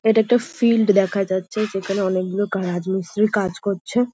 এটা একটা ফিল্ড দেখা হচ্ছে যেখানে অনেকগুলো গারাজ মিস্তিরি কাজ করছে।